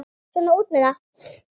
Svona út með það.